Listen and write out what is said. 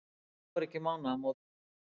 Það voru ekki mánaðamót.